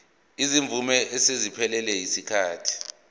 izimvume eseziphelelwe yisikhathi